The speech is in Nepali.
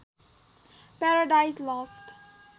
paradise lost